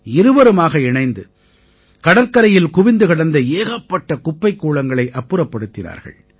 இருவருமாக இணைந்து கடற்கரையில் குவிந்து கிடந்த ஏகப்பட்ட குப்பைக் கூளங்களை அப்புறப்படுத்தினார்கள்